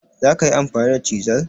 zakayi amfani da chisel?